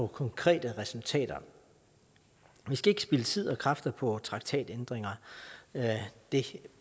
konkrete resultater vi skal ikke spilde tid og kræfter på traktatændringer det